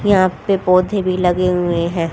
यहां पे पौधे भी लगे हुए हैं।